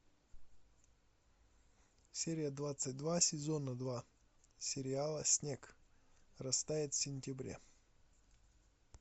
серия двадцать два сезона два сериала снег растает в сентябре